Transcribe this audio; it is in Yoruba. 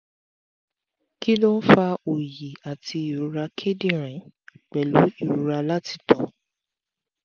kí ló ń fa oyi ati irora kidinrin pelu irora lati to